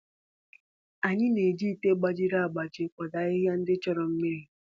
Anyị na-eji ite gbajiri agbaji kwado ahịhịa ndị chọrọ mmiri.